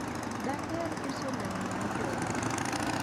daher uso lewni ni jowar